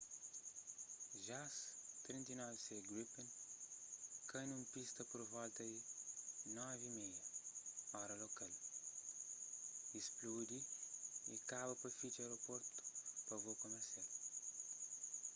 jas 39c gripen kai nun pista pur volta di 9:30 óra lokal 0230 utc y spludi y kaba pa fitxa aerportu pa vôu kumersial